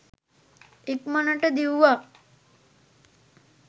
ඉක්මනට දිව්වා